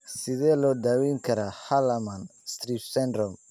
Sidee loo daweyn karaa Hallermann Streiff syndrome?